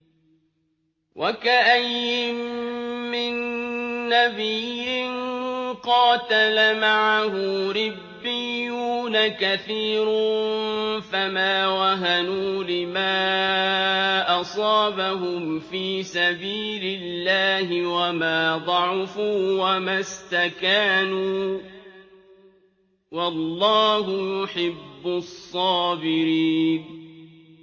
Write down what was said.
وَكَأَيِّن مِّن نَّبِيٍّ قَاتَلَ مَعَهُ رِبِّيُّونَ كَثِيرٌ فَمَا وَهَنُوا لِمَا أَصَابَهُمْ فِي سَبِيلِ اللَّهِ وَمَا ضَعُفُوا وَمَا اسْتَكَانُوا ۗ وَاللَّهُ يُحِبُّ الصَّابِرِينَ